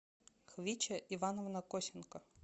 квича ивановна косенко